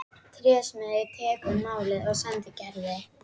Trésmiður tekur málið og sendir Gerði.